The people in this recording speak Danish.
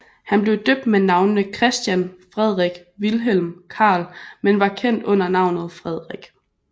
Han blev døbt med navnene Christian Frederik Vilhelm Carl men var kendt under navnet Frederik